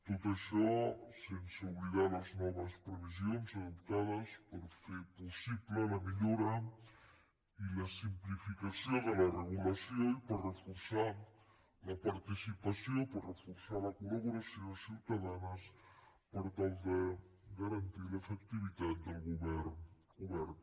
tot això sense oblidar les noves previsions adoptades per fer possible la millora i la simplificació de la regulació i per reforçar la participació per reforçar la collaboració ciutadana per tal de garantir l’efectivitat del govern obert